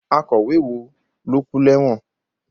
Akọ̀wé wo ló kú lẹ́wọ̀n?